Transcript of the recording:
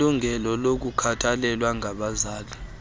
nelungelo lokukhathalelwa ngabazali